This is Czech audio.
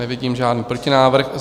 Nevidím žádný protinávrh.